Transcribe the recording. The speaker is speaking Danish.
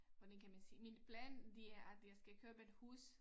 Hvordan kan man sige min plan det er at jeg skal købe et hus